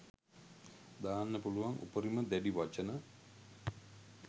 දාන්න පුළුවන් උපරිම දැඩි වචන